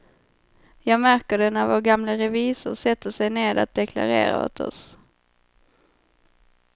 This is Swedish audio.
Jag märker det när vår gamle revisor sätter sig ned att deklarera åt oss.